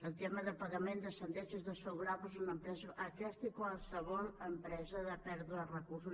el tema de pagament de sentències desfavorables a una empresa aquesta i qualsevol empresa de pèrdua de recursos